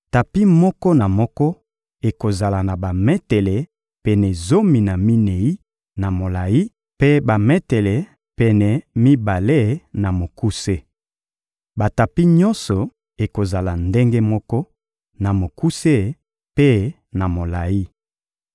Tapi moko na moko ekozala na bametele pene zomi na minei na molayi; mpe bametele pene mibale, na mokuse. Batapi nyonso ekozala ndenge moko na mokuse mpe na molayi.